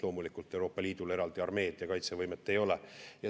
Loomulikult, Euroopa Liidul eraldi armeed ja kaitsevõimet ei ole.